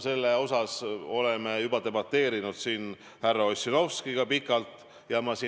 Sellel teemal oleme siin härra Ossinovskiga juba pikalt debateerinud.